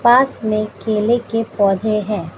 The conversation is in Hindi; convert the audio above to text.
पास में केले के पौधे हैं।